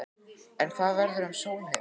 En hvað verður um Sólheima?